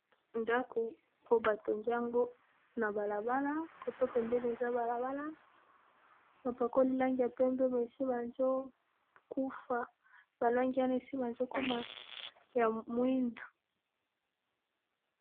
ndako po batongiango na balabala koto pembeni eza balabana bapakoli lange ya pembe me esi bazokufa balangi ana esi bazokoma ya mwindu